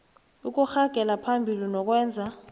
ukuragela phambili nokwenza